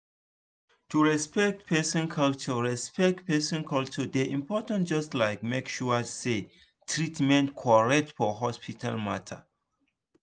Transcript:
to respect person culture respect person culture dey important just like make sure say treatment correct for hospital matter.